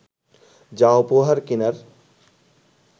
যা উপহার কিনার